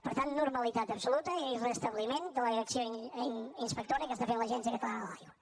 per tant normalitat absoluta i restabliment de l’acció inspectora que està fent l’agència catalana de l’aigua